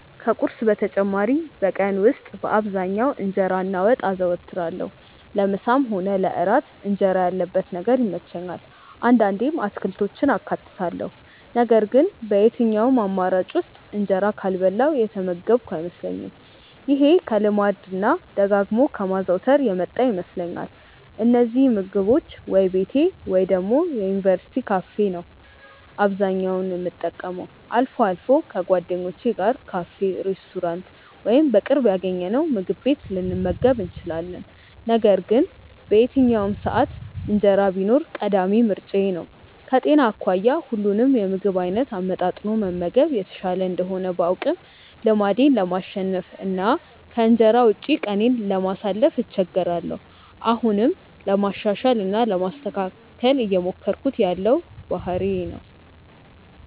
ከቁርስ በተጨማሪ በቀን ውስጥ በአብዛኛው እንጀራ እና ወጥ አዘወትራለሁ። ለምሳም ሆነ ለእራት እንጀራ ያለበት ነገር ይመቸኛል። አንዳንዴም አትክልቶችን አካትታለሁ ነገር ግን በየትኛውም አማራጭ ውስጥ እንጀራ ካልበላሁ የተመገብኩ አይመስለኝም። ይሄ ከልማድ እና ደጋግሞ ከማዘውተር የመጣ ይመስለኛል። እነዚህን ምግቦች ወይ ቤቴ ወይ ደግሞ የዩኒቨርስቲ ካፌ ነው አብዛኛውን የምጠቀመው። አልፎ አልፎ ከጓደኞቼ ጋር ካፌ፣ ሬስቶራንት ወይም በቅርብ ያገኘነውምግብ ቤት ልንመገብ እንችላለን። ነገር ግን በየትኛውም ሰዓት እንጀራ ቢኖር ቀዳሚ ምርጫዬ ነው። ከጤና አኳያ ሁሉንም የምግብ አይነት አመጣጥኖ መመገብ የተሻለ እንደሆነ ባውቅም ልማዴን ለማሸነፍ እና ከእንጀራ ውጪ ቀኔን ለማሳለፍ እቸገራለሁ። አሁንም ለማሻሻል እና ለማስተካከል እየሞከርኩት ያለው ባህሪዬ ነው።